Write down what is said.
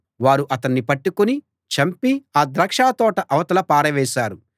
వారు అతన్ని పట్టుకుని చంపి ఆ ద్రాక్షతోట అవతల పారవేశారు